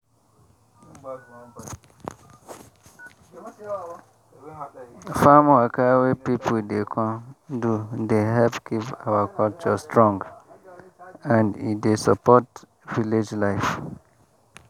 farm waka wey pipu dey come do dey help keep our culture strong and e dey support village life.